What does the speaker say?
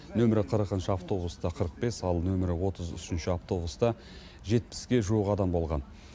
нөмірі қырықыншы автобуста қырық бес ал нөмірі отыз үшінші автобуста жетпіске жуық адам болған